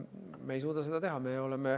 Me ei suuda seda teha.